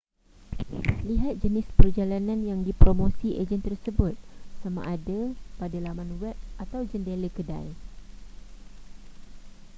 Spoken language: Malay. lihat jenis perjalanan yang dipromosi ejen tersebut sama ada pada laman web atau jendela kedai